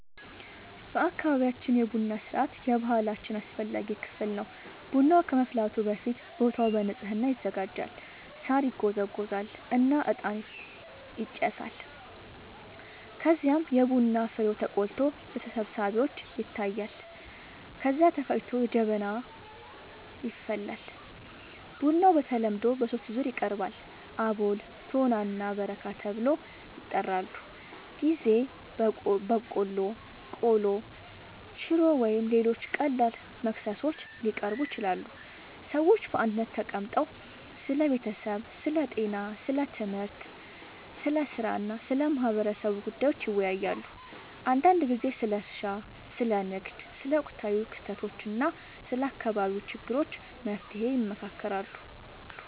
በአካባቢያችን የቡና ሥርዓት የባህላችን አስፈላጊ ክፍል ነው። ቡናው ከመፍላቱ በፊት ቦታው በንጽህና ይዘጋጃል፣ ሳር ይጎዘጎዛል እና እጣን ይጨሳል። ከዚያም የቡና ፍሬው ተቆልቶ ለተሰብሳቢዎች ይታያል፣ ከዚያ ተፈጭቶ በጀበና ይፈላል። ቡናው በተለምዶ በሦስት ዙር ይቀርባል፤ አቦል፣ ቶና እና በረካ ተብለው ይጠራሉበ ጊዜ በቆሎ፣ ቆሎ፣ ሽሮ ወይም ሌሎች ቀላል መክሰሶች ሊቀርቡ ይችላሉ። ሰዎች በአንድነት ተቀምጠው ስለ ቤተሰብ፣ ስለ ጤና፣ ስለ ትምህርት፣ ስለ ሥራ እና ስለ ማህበረሰቡ ጉዳዮች ይወያያሉ። አንዳንድ ጊዜ ስለ እርሻ፣ ስለ ንግድ፣ ስለ ወቅታዊ ክስተቶች እና ስለ አካባቢው ችግሮች መፍትሔ ይመካከራሉ